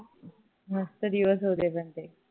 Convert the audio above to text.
मस्त दिवस होते पण ते